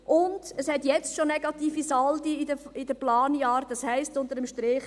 Und es hat bereits jetzt negative Saldi in den Planjahren, das heisst unter dem Strich: